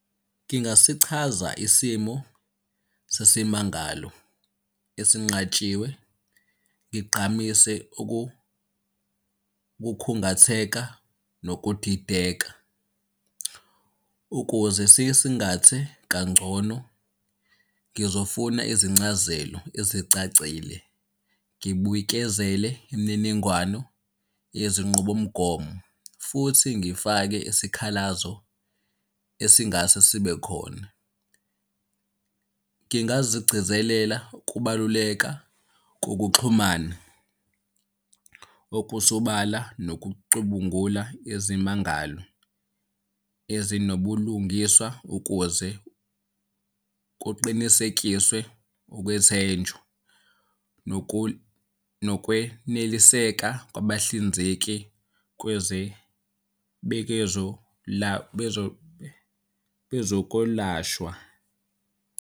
Ngingasichaza isimo sesimangalo esinqatshiwe, ngigqamise ukukhungatheka nokudideka, ukuze sisingathe kangcono ngizofuna izincazelo ezicacile. Ngibuyekezele imininingwano yezinqubomgomo, futhi ngifake isikhalazo esingase sibe khona. Ngingazigcizelela ukubaluleka kokuxhumana okusobala nokucubungula izimangalo ezinobulungiswa ukuze kuqinisekiswe ukwethenjwa nokweneliseka kwabahlinzeki bezokolashwa.